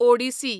Odissi